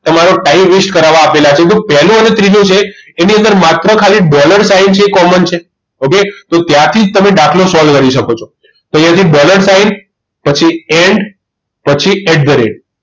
તમારું time waste કરાવવા આપેલા છે તેમાં પહેલું અને ત્રીજું છે એમાં માત્ર dollar sign છે એ common છે okay તો ત્યાંથી જ તમે દાખલો solve કરી શકો છો તો અહીંથી dollar sign પછી end પછી at the rate